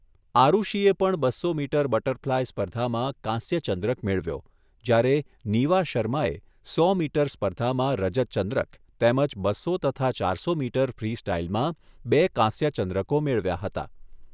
આરૂષીએ પણ બસો metre butterfly સ્પર્ધામાં કાંસ્ય ચંદ્રક મેળવ્યો, જ્યારે નીવા શર્માએ સો મીટર સ્પર્ધામાં રજતચંદ્રક તેમજ બસો તથા ચારસો મીટર ફ્રીસ્ટાઇલમાં બે કાંસ્ય ચંદ્રકો મેળવ્યા હતા.